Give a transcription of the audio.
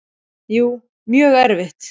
Jú, mjög erfitt.